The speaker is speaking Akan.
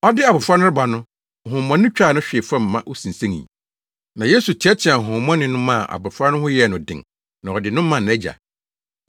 Ɔde abofra no reba no, honhommɔne no twaa no hwee fam ma osinsenii. Na Yesu teɛteɛɛ honhommɔne no maa abofra no ho yɛɛ no den na ɔde no maa nʼagya.